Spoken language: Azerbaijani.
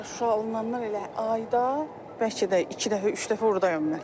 Vallah Şuşa alınandan elə ayda bəlkə də iki dəfə, üç dəfə ordayam mən.